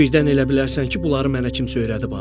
Birdən elə bilərsən ki, bunları mənə kimsə öyrədib, ha?